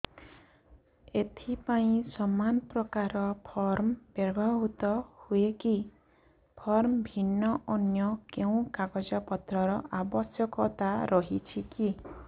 ଏଥିପାଇଁ ସମାନପ୍ରକାର ଫର୍ମ ବ୍ୟବହୃତ ହୂଏକି ଫର୍ମ ଭିନ୍ନ ଅନ୍ୟ କେଉଁ କାଗଜପତ୍ରର ଆବଶ୍ୟକତା ରହିଛିକି